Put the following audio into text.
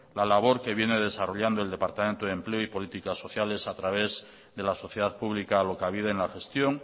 la labor que viene desarrollando el departamento de empleo y políticas sociales a través de la sociedad pública alokabide en la gestión